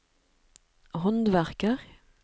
håndverker